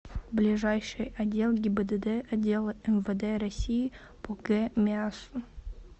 ближайший отдел гибдд отдела мвд россии по г миассу